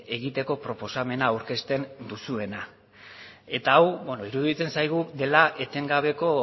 egiteko proposamena aurkezten duzuena eta hau iruditzen zaigu dela etengabeko